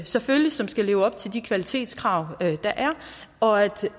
selvfølgelig skal leve op til de kvalitetskrav der er og at